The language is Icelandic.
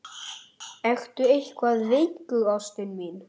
Við fengum að vita þetta í morgun, mamma þín og ég.